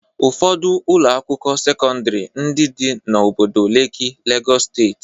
Ụfọdụ Ụlọ akwụkwọ sekọndrị ndị dị n'obodo Leki Legọs steeti.